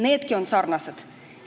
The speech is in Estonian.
Needki on sarnased.